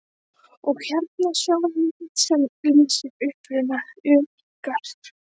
Og hérna sjáiði mynd sem lýsir uppruna ykkar.